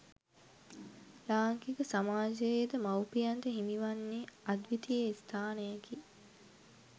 ලාංකික සමාජයේද මවුපියන්ට හිමි වන්නේ අද්විතීය ස්ථානයකි.